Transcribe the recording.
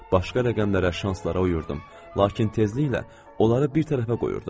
Başqa rəqəmlərə, şanslara uyurdum, lakin tezliklə onları bir tərəfə qoyurdum.